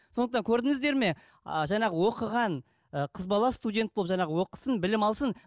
сондықтан көрдіңіздер ме а жаңағы оқыған ы қыз бала студент болып жаңағы оқысын білім алсын